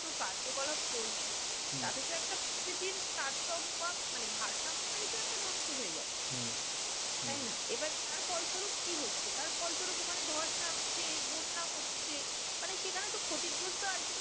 তো কার্যকলাপ চলছে। তাতে তো একটা পৃথিবীর তারতম্য ভাব মানে ভারসাম্যটাই একটা নষ্ট হয়ে যাচ্ছে। তাই না? এবার তার ফলস্বরুপ কি হচ্ছে? তার ফলস্বরূপ ওখানে ধস নামছে, বন্যা হচ্ছে, মানে সেখানে তো ক্ষতিগ্রস্ত ultimately